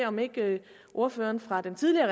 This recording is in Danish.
om ikke ordføreren fra det tidligere